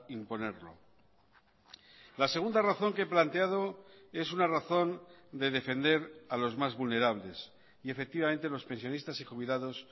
imponerlo la segunda razón que he planteado es una razón de defender a los más vulnerables y efectivamente los pensionistas y jubilados